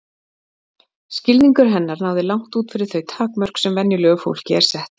Skilningur hennar náði langt út fyrir þau takmörk sem venjulegu fólki eru sett.